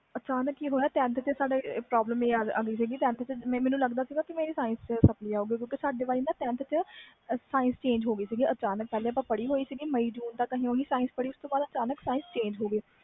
ਅਚਾਨਕ ਕਿ ਹੋਇਆ ਮੈਨੂੰ ਲਗਦਾ ਸੀ tenth ਵਿੱਚੋ sapply ਆਓ ਗੀ ਕਿਉਕਿ tenth ਵਿਚ ਹੋ ਗਈ ਸੀ science ਪੜ੍ਹੀ ਹੋਈ ਸੀ ਪਹਲੇ ਉਸਤੋਂ ਬਾਅਦਅਚਾਨਕ science chnage ਹੋ ਗਈ ਮਈ ਵਿਚ